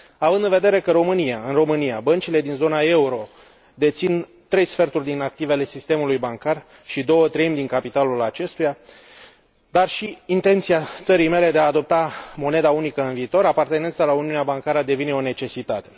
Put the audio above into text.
Având în vedere că în România, băncile din zona euro dețin trei sferturi din activele sistemului bancar și două treimi din capitalul acestuia, și având în vedere intenția țării mele de a adopta moneda unică în viitor, apartenența la uniunea bancară devine o necesitate.